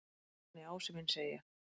Nei, nei, Ási minn segi ég.